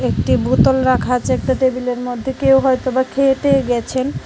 একটি বোতল রাখা আছে একটা টেবিলের মধ্যে কেউ হয়তো খেয়ে টেয়ে গেছেন।